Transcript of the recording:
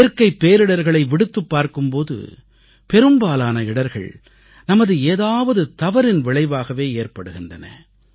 இயற்கைப் பேரிடர்களை விடுத்துப் பார்க்கும் போது பெரும்பாலான இடர்கள் நமது ஏதாவது தவறின் விளைவாகவே ஏற்படுகின்றன